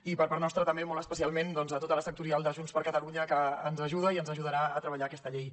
i per part nostra també molt especialment a tota la sectorial de junts per catalunya que ens ajuda i ens ajudarà a treballar aquesta llei